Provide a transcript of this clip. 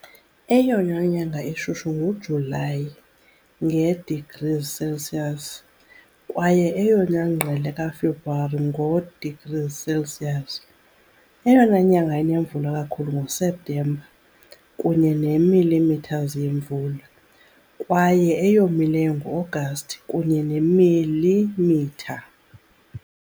Eyona nyanga ishushu nguJulayi, nge- degrees Celsius, kwaye eyona ngqele kaFebruwari, ngo-degrees Celsius. Eyona nyanga inemvula kakhulu nguSeptemba, kunye ne millimeters yemvula, kwaye eyomileyo nguAgasti, kunye neemilimitha.